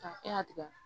Ka e y'a tigɛ